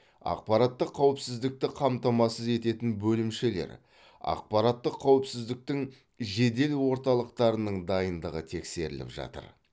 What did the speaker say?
ақпараттық қауіпсіздікті қамтамасыз ететін бөлімшелер ақпараттық қауіпсіздіктің жедел орталықтарының дайындығы тексеріліп жатыр